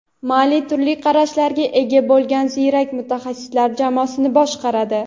Malli turli qarashlarga ega bo‘lgan ziyrak mutaxassislar jamoasini boshqaradi.